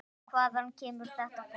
En hvaðan kemur þetta fólk?